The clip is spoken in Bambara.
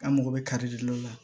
An mago bɛ kari de o la